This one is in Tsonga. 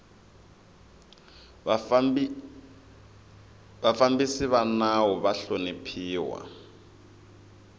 vafambisi va nawu ava hloniphiwa